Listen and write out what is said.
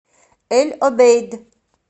эль обейд